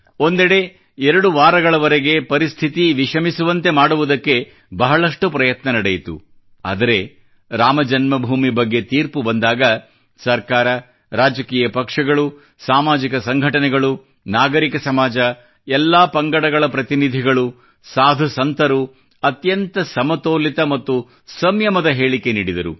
ಒಂದೆಡೆ ಎರಡು ವಾರಗಳವರೆಗೆ ಪರಿಸ್ಥಿತಿ ವಿಷಮಿಸುವಂತೆ ಮಾಡುವುದಕ್ಕೆ ಬಹಳಷ್ಟು ಪ್ರಯತ್ನ ನಡೆಯಿತು ಆದರೆ ರಾಮ ಜನ್ಮಭೂಮಿ ಬಗ್ಗೆ ತೀರ್ಪು ಬಂದಾಗ ಸರ್ಕಾರ ರಾಜಕೀಯ ಪಕ್ಷಗಳು ಸಾಮಾಜಿಕ ಸಂಘಟನೆಗಳು ನಾಗರಿಕ ಸಮಾಜ ಎಲ್ಲಾ ಪಂಗಡಗಳ ಪ್ರತಿನಿಧಿಗಳು ಸಾಧುಸಂತರು ಅತ್ಯಂತ ಸಮತೋಲಿತ ಮತ್ತು ಸಂಯಮದ ಹೇಳಿಕೆ ನೀಡಿದರು